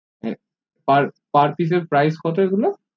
per pice এর price কত এগুলো